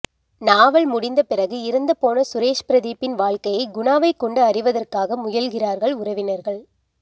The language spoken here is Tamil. நாவல் முடிந்த பிறகு இறந்து போன சுரேஷ் ப்ரதீப்பின் வாழ்க்கையை குணாவைக்கொண்டு அறிவதற்காக முயல்கிறார்கள் உறவினர்கள்